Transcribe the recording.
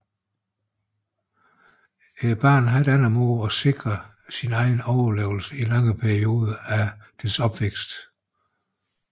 Barnet har ikke andre måder at sikre sin egen overlevelse i lange perioder af dets opvækst